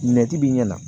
Mɛtibi ɲɛna